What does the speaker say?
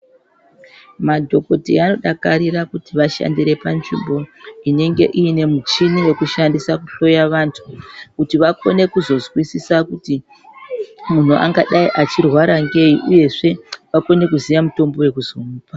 Madhokodheya anodakarira kuti vantu vashandire panzvimbo inenge ine michini yekushandisa kuhloya kuti vakone kuzozwisisa kuti muntu angadai achi rwara ngei uye akone kuziya mitombo yekuzomwa.